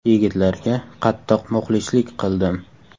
Yigitlarga qattiq muxlislik qildim.